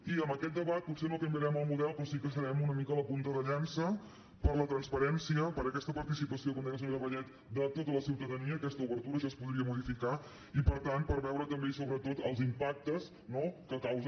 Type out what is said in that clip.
i amb aquest debat potser no canviarem el model però sí que farem una mica la punta de llança per la transparència per aquesta participació com deia la senyora vallet de tota la ciutadania aquesta obertura això es podria modificar i per tant per veure també i sobretot els impactes no que causa